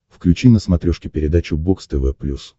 включи на смотрешке передачу бокс тв плюс